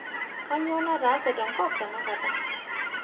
kaanyoo naatase tenkop tenanakata